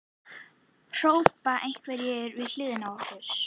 hrópa einhverjir við hliðina á okkur.